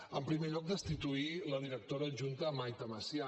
en primer lloc destituir la directora adjunta maite masià